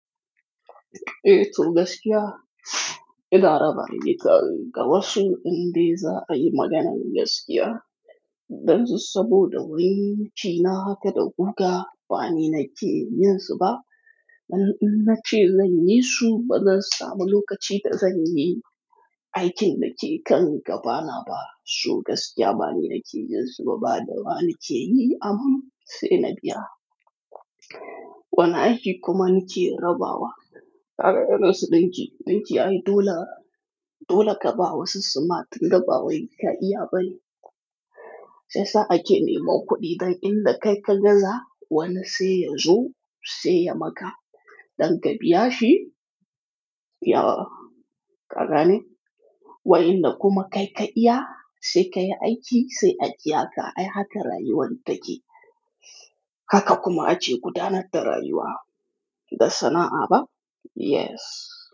Eh to gaskiya, ina raba ni ka ga wasu inda za a yi maganan gaskiya. Dan su saboda wani nace nahaka da guga bani na ke yin su ba. Dan in na ce zan yi su, ba zan samu lokaci ba zan yi aikin da ke kan gabana ba. Su gaskiya bani na ke yin su ba da ba na ke yi aman sai na biya. Wani aiki kuma na ke rabawa. Kare irin su ɗinki, ɗinki ai dole, dole ka ba wa sussumat in ka ba wa ka iya bani. Sai sa a ke neman kuɗi dan in da kai ka gaza wane sai ya zo sai ya maka. Dan ka biya shi, ya ƙarane. Wai in da kuma kai ka iya sai ka yi aiki sai ajiye ka ai haka rayuwan take. Haka kuma ace gudanar da rayuwa da sana'a ba? Yes.